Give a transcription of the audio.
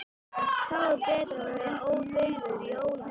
Þá er betra að vera ódauður í ólandi.